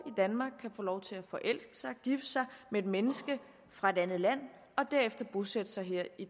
danmark kan få lov til at forelske sig gifte sig med et menneske fra et andet land og derefter bosætte sig her i